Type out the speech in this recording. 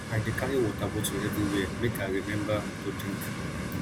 i dey carry water bottle everywhere make i rememba to drink